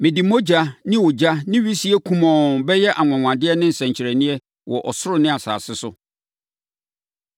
Mede mogya ne ogya ne wisie kumɔnn bɛyɛ anwanwadeɛ ne nsɛnkyerɛnneɛ wɔ ɔsoro ne asase so.